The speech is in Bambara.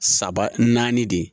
Saba naani de ye